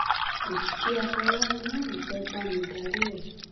òkìkí afọláyan náà ló fẹ́ bá mi darí ẹ̀